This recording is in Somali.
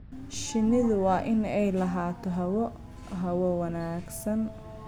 Shinnidu waa inay lahaato hawo hawo wanaagsan.